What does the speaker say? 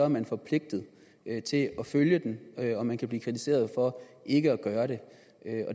man forpligtet til at følge den og man kan blive kritiseret for ikke at gøre det